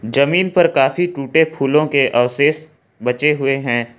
जमीन पर काफी टूटे फूलों के अवशेष बचे हुए हैं।